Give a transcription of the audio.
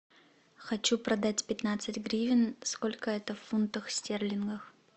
хочу продать пятнадцать гривен сколько это в фунтах стерлингах